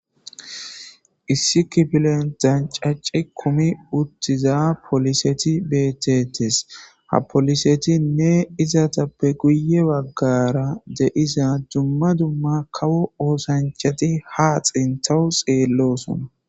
Issi kifile lececi kumi uttida polisey deetes ha polisetinne izetappe guye bagara de'iza kawo oosanchati ha sintaw xelosona